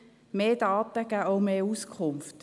Mehr Daten geben auch mehr Auskunft.